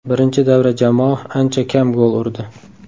Birinchi davra jamoa ancha kam gol urdi.